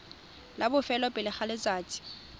la bofelo pele ga letsatsi